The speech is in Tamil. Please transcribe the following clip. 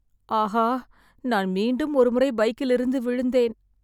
ஆஹா, நான் மீண்டும் ஒருமுறை பைக்கில் இருந்து விழுந்தேன்.